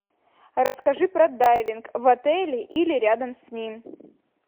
расскажи про дайвинг в отеле или рядом с ним